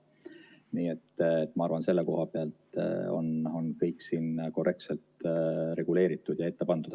Nii et ma arvan, et selle koha pealt on kõik siin korrektselt reguleeritud ja ette pandud.